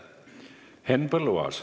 Henn Põlluaas.